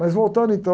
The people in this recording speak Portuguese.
Mas voltando então,